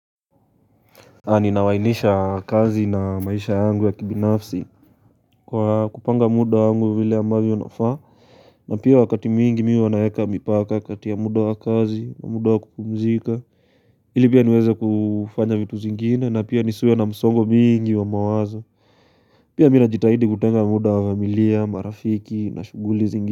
Ninawainisha kazi na maisha yangu ya kibinafsi Kwa kupanga muda yangu vile ambayo unafaa na pia wakati mingi miwa wanayeka mipaka kati ya muda wa kazi na muda wa kupumzika ili pia niweze kufanya vitu zingine na pia nisuwe na msongo mingi wa mawazo Pia mina jitahidi kutenga muda wa familia, marafiki na shuguli zingine.